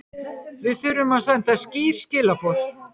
Við þurfum að senda skýr skilaboð